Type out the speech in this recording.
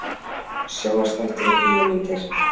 SJÓNVARPSÞÆTTIR OG BÍÓMYNDIR